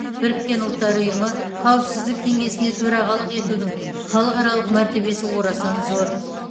біріккен ұлттар ұйымы қауіпсіздік кеңесіне төрағалық етудің халықаралық мәртебесі орасан зор